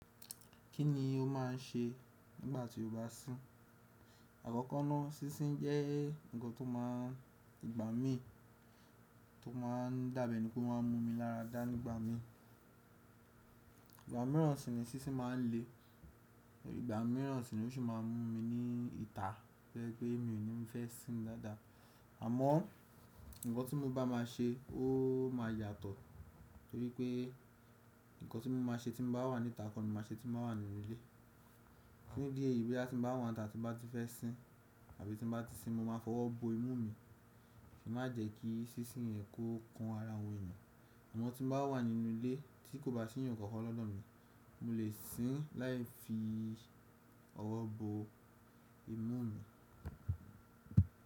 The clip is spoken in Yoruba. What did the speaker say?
Kí ni o máà n ṣe nígbà tí o bá sín? Àkọ́kọ́ náà, sísín jẹ́ nǹkan tó máa gbà mí tó máa n dábẹ́ ní pé ó máa n mú mi lára dá nígbà mí. Ìgbà mìíràn sì ni sísín máa n le, òbí ìgbà mìíràn sì ni ó sì máa n mú mi ní ìta pẹ́lú pé mi ò ní fẹ́ sín dáadáa. Àmọ́, nǹkan tí mo bá máa ṣe ó máa yàtọ̀ nítorí pé nǹkan tí mo máa ṣe tí mo bá wà níta kọ̀ní máa ṣe tí mo bá wà nínú ilé. Ní di ẹ ìbí tí mo bá wà níta tí mo bá ti fẹ́ sín àbí tí mo bá ti sín mo máa fọwọ́ bo imú mi kí ó má jẹ́ kí sísín yẹn kó kan ara àwọn èèyàn. Àmọ́ tí mo bá wà nínú ilé tí kò bá sí ẹnì kankan lọ́dọ̀ mi, mo lè sín láì fi ọwọ́ bo imú mi.